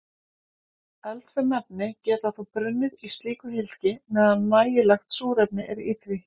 Eldfim efni geta þá brunnið í slíku hylki meðan nægilegt súrefni er í því.